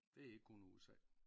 Det er ikke kun USA